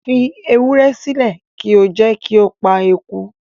Fi ewúrẹ́ sílẹ̀ kí o jẹ́ kí ó pa eku